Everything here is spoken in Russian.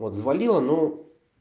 вот взвалила но